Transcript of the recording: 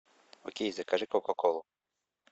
окей закажи кока колу